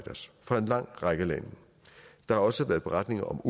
en lang række lande der har også været beretninger om